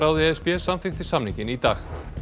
e s b samþykkti samninginn í dag